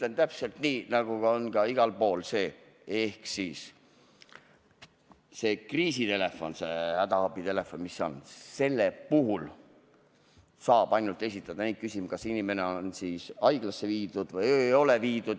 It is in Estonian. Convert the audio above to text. Ütlen täpselt nii, nagu see on igal pool: selle kriisi- või hädaabitelefoni puhul saab esitada ainult neid küsimusi, kas inimene on haiglasse viidud või ei ole.